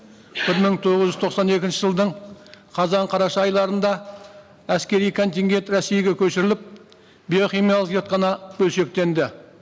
бір мың тоғыз жүз тоқсан екінші жылдың қазан қараша айларында әскери контингенті ресейге көшіріліп биохимиялық зертхана бөлшектенді